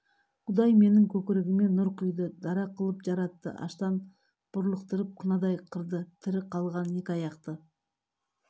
құдай менің көкірегіме нұр құйды дара қылып жаратты аштан бұрлықтырып қынадай қырды тірі қалғаны екі аяқты